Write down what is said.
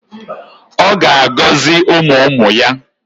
Ọ ga-agọzi ụmụ ụmụ ya.